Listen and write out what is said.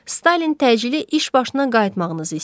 Stalin təcili iş başına qayıtmağınızı istəyir.